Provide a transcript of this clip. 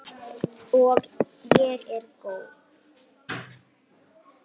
Og ég er góð.